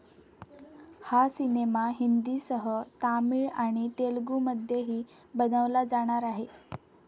हा सिनेमा हिंदीसह तामिळ आणि तेलुगुमध्येही बनवला जाणार आहे.